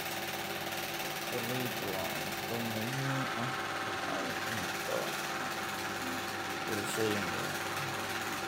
Galaydu waa cunto muhiim ah oo ay cunto bulshooyin badan.